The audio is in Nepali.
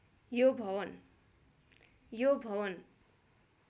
यो भवन